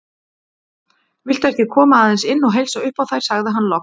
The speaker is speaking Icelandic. Viltu ekki koma aðeins inn og heilsa upp á þær sagði hann loks.